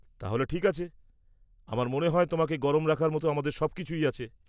তাহলে ঠিক আছে। আমার মনে হয় তোমাকে গরম রাখার মতো আমাদের সবকিছুই আছে।